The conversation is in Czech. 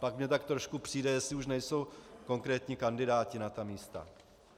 Pak mi tak trochu přijde, jestli už nejsou konkrétní kandidáti na ta místa.